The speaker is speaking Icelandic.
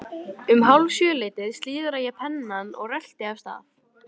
Um hálf sjö leytið slíðra ég pennann og rölti af stað.